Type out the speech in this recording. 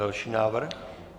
Další návrh.